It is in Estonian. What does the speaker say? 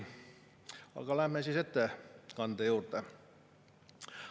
Aga läheme ettekande juurde.